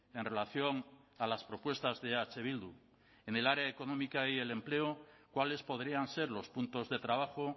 en relación a las propuestas de eh bildu en el área económica y el empleo cuáles podrían ser los puntos de trabajo